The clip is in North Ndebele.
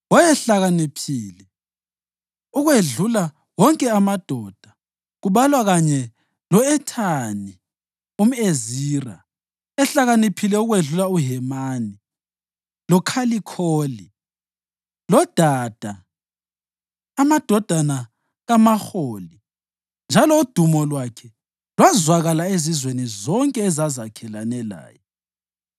Wayehlakaniphe ukwedlula wonke amadoda, kubalwa kanye lo-Ethani umʼEzira, ehlakaniphe ukwedlula uHemani, loKhalikholi loDada, amadodana kaMaholi. Njalo udumo lwakhe lwazwakala ezizweni zonke ezazakhelene laye.